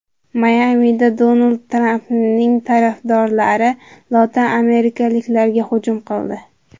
Mayamida Donald Trampning tarafdorlari lotin amerikaliklarga hujum qildi.